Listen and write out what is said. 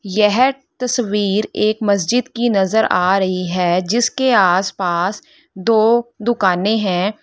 यह तस्वीर एक मस्जिद की नजर आ रही है जिसके आसपास दो दुकाने हैं।